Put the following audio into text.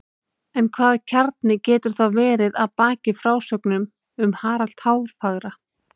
En hvaða kjarni getur þá verið að baki frásögnum um Harald hárfagra?